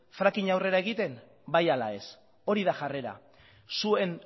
frackinga aurrera egiten bai ala ez hori da jarrera zuen